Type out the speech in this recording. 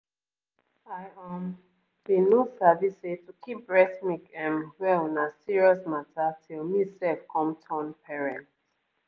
i um bin no sabi say to keep breast milk ehm well na serious mata till me sef come turn parent.